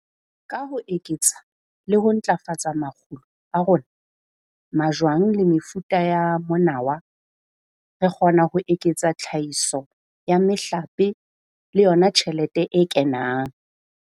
Ka ho eketsa le ho ntlafatsa makgulo a rona, majwang le mefuta ya monawa, re kgona ho eketsa tlhahiso ya mehlape le yona tjhelete e kenang.